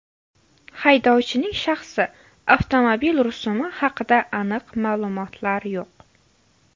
Haydovchining shaxsi, avtomobil rusumi haqida aniq ma’lumotlar yo‘q.